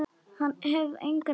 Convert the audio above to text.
Hef engan hitt og.